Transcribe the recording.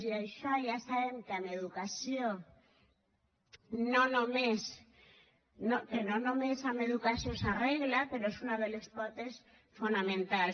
i això ja sabem que no només amb educació s’arregla però n’és una de les potes fonamentals